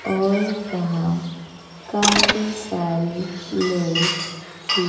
और यहां काफी सारे लोग खी--